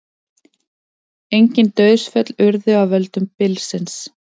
Engin dauðsföll urðu af völdum bylsins